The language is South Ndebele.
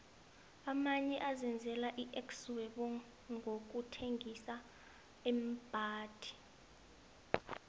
amanye azenzela ixhwebonqokuthengisa iimbhadi